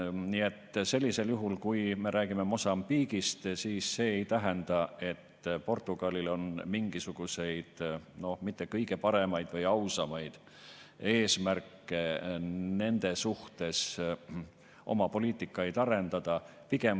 Nii et sellisel juhul, kui me räägime Mosambiigist, see ei tähenda, et Portugalil on mingisuguseid mitte kõige paremaid või ausamaid eesmärke nende suhtes oma poliitikat arendada.